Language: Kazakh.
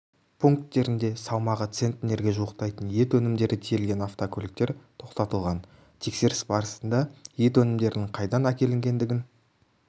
пункттерінде салмағы центнерге жуықтайтын ет өнімдері тиелген автокөліктер тоқтатылған тексеріс барысында ет өнімдерінің қайдан әкелінгендігін